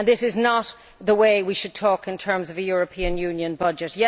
This is not the way we should talk in terms of a European Union budget.